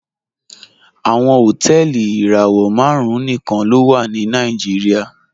Awọn hotẹẹli irawọ màrùn níkan ló wà ní Nàìjíríà